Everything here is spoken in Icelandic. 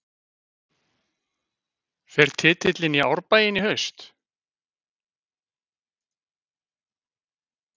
Fer titillinn í Árbæinn í haust?